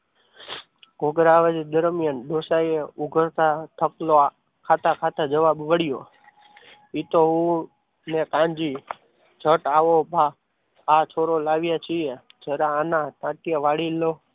ઘૂઘરા આવા જ દરમિયાન ડોસાઈ ઉગાડતા થકલો ખાતા ખાતા જવાબ મળ્યો એ તો હું ને કાનજી જટ આવો ભા આ છોરો લાવ્યા છીએ જરા આના ટાંટિયા વાળી લો.